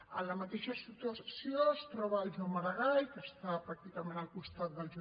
en la mateixa situació es troben el joan maragall que està pràcticament al costat del j